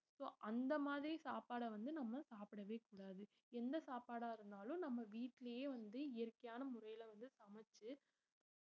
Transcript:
so அந்த மாதிரி சாப்பாடா வந்து சப்படவே கூடாது எந்த சாப்டா இருந்தாலும் நம்ம வீட்டுலயே வந்து இயற்கையான முறையில வந்து சமச்சு